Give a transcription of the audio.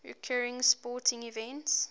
recurring sporting events